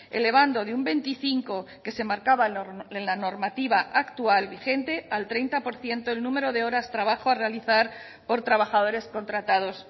elevando de un veinticinco que se marcaba en la normativa actual vigente al treinta por ciento el número de horas trabajo a realizar por trabajadores contratados